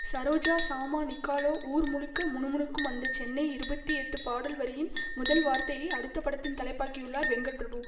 சரோஜா சாமா நிக்காலோ ஊர் முழுக்க முணுமுணுக்கும் அந்த சென்னை இருபத்தி எட்டு பாடல் வரியின் முதல் வார்த்தையை அடுத்த படத்தின் தலைப்பாக்கியுள்ளார் வெங்கட்பிரபு